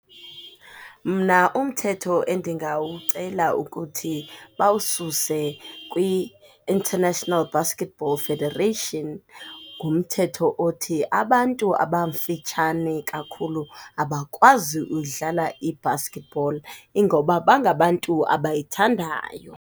Mna umthetho endingawucela ukuthi bawususe kwi-International Basketball Federation ngumthetho othi abantu abafitshane kakhulu abakwazi uyidlala ibasketball. Ingoba bangabantu abayithandayo.